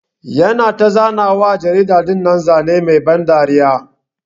Yana ta zana wa jarida dinnan Zane Mai ban dariya.